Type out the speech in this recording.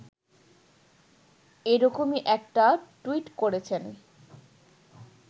এরকমই একটা টুইট করেছেন